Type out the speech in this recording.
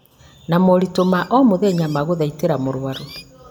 na moritũ ma o mũthenya ma gũthaitĩra mũrwaru